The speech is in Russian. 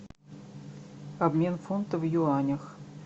обмен фунта в юанях